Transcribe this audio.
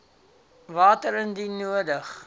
water indien nodig